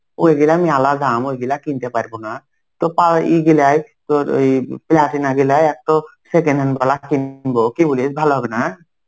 ওইগুলোন আলাদা. ওইগুলা কিনতে পারবো না. তো পা~ এইগুলাই তর ওই প্লাটিনা গুলাই একট second hand গুলা কিনবো. কি বলিস ভালো হবে না?